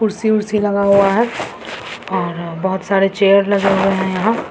कुर्सी-उर्सी लगा हुआ है और बहुत सारे चेयर लगे हुए है यहां।